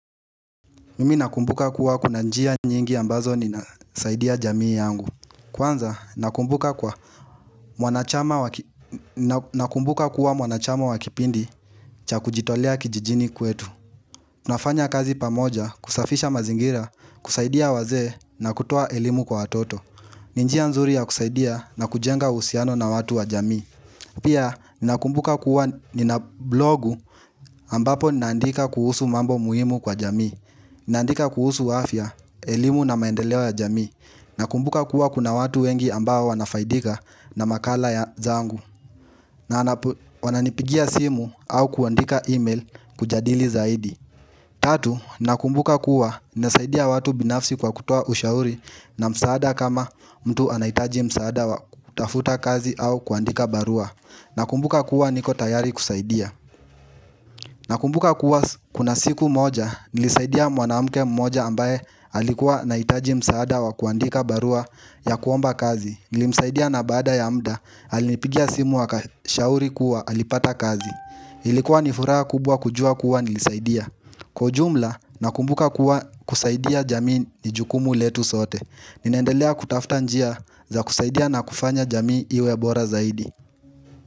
Mimi nakumbuka kuwa kuna njia nyingi ambazo ninasaidia jamii yangu Kwanza nakumbuka kuwa mwanachama wa kipindi cha kujitolea kijijini kwetu nafanya kazi pamoja kusafisha mazingira kusaidia wazee na kutoa elimu kwa watoto ni njia nzuri ya kusaidia na kujenga uhusiano na watu wa jamii Pia nakumbuka kuwa nina blogu ambapo ninandika kuhusu mambo muhimu kwa jamii naandika kuhusu afya, elimu na maendelewa ya jamii. Nakumbuka kuwa kuna watu wengi ambao wanafaidika na makala ya zangu na wananipigia simu au kuandika email kujadili zaidi Tatu, nakumbuka kuwa nasaidia watu binafsi kwa kutoa ushauri na msaada kama mtu anahitaji msaada wa kutafuta kazi au kuandika barua Nakumbuka kuwa niko tayari kusaidia na kumbuka kuwa kuna siku moja nilisaidia mwanamuke mmoja ambaye alikuwa anahitaji msaada wa kuandika barua ya kuomba kazi. Nilimsaidia na baada ya muda, alinipigia simu akashauri kuwa alipata kazi. Ilikuwa ni furaha kubwa kujua kuwa nilisaidia Kwa ujumla, nakumbuka kuwa kusaidia jamii ni jukumu letu sote. Ninaendelea kutafuta njia za kusaidia na kufanya jamii iwe bora zaidi.